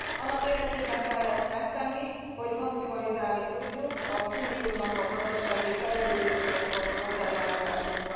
Annak érdekében kell ezt megtenni, hogy maximalizálni tudjuk az Uniónak a gazdasági fejlődéséhez való hozzájárulását.